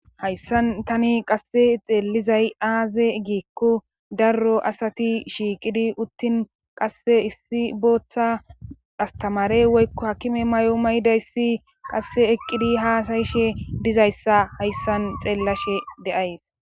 hayssan tani qasse xeellizay aaze giikko darro asati shiiqidi uttin qasse issi booththa astamare woykko hakime may7o maydayssi qasse eqqidi haasayishe dizayssa hayssan xeellashe de7ays.